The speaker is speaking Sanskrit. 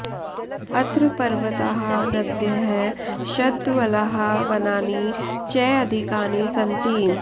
अत्र पर्वताः नद्यः शद्वलाः वनानि च अधिकानि सन्ति